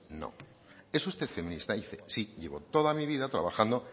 no es usted feminista sí llevo toda mi vida trabajando